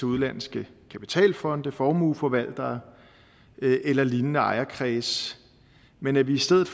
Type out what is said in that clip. udenlandske kapitalfonde formueforvaltere eller lignende ejerkredse men at vi i stedet